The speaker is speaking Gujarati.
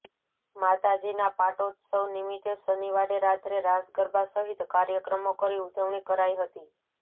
માતાજીના પાટોત્સવ નિમિત્તે શનિવારે રાત્રે રાસ ગરબા સહિત કાર્યક્રમો કરી ઉજવણી કરાઇ હતી